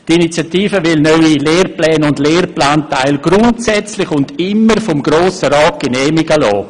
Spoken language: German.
Die Initiative will neue Lehrpläne und Lehrplanteile grundsätzlich und immer vom Grossen Rat genehmigen lassen.